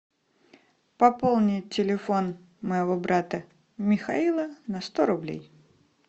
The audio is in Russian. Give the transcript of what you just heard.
пополнить телефон моего брата михаила на сто рублей